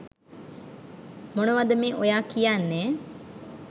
මොනවද මේ ඔයා කියන්නේ